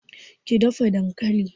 ki dafa dankalin!